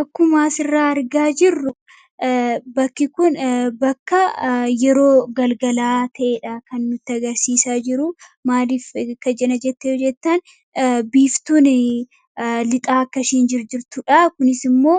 Akkuma asirraa argaa jirru, bakki kun bakka yeroo galgalaa ta'edha kan nutti agarsiisaa jiru. Maaliif kana jette yoo jettan biiftuuni lixaa akka ishiin jirtudha kunisimmoo